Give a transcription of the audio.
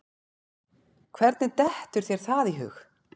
Hvernig dettur þér það í hug?